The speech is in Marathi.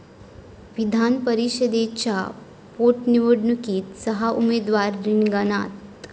विधानपरिषदेच्या पोटनिवडणुकीत सहा उमेदवार रिंगणात